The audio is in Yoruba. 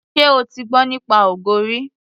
Ṣé o ti gbọ́ nípa ogo rí.